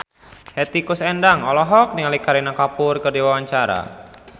Hetty Koes Endang olohok ningali Kareena Kapoor keur diwawancara